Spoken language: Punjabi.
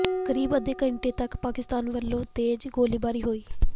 ਕਰੀਬ ਅੱਧੇ ਘੰਟੇ ਤਕ ਪਾਕਿਸਤਾਨ ਵੱਲੋਂ ਤੇਜ਼ ਗੋਲੀਬਾਰੀ ਹੋਈ